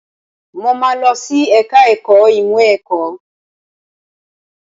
Mo máa lọ sí ẹ̀ka ẹ̀kọ́ ìmọ̀ ẹ̀kọ́.